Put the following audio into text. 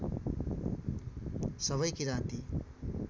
सबै किराँती